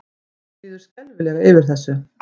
Mér líður skelfilega yfir þessu.